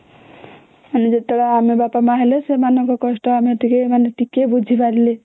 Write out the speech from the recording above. ମାନେ ଯେତେବେଳେ ଆମେ ବାପା ମା ହେଲେ ସେମାନଙ୍କ କଷ୍ଟ ଆମେ ଟିକେ ମାନେ ଟିକେ ବୁଝିପାରିଲେ